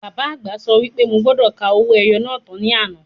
Bàbá àgbà sọ wí pé mo gbọ́dọ̀ ka owó ẹyọ náà tán ní àná.